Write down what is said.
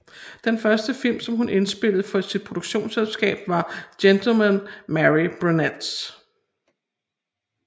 Den første film som hun indspillede for sit produktionsselskab var Gentlemen Marry Brunettes